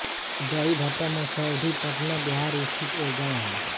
दहीभट्टा मसौढी पटना बिहार स्थित एक गाँव है